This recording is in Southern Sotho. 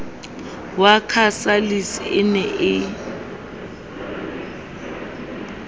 wa casalis e ne e